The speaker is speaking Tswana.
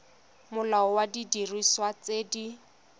molao wa didiriswa tse di